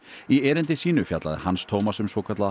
í erindi sínu fjallaði Hans Tómas um svokallaða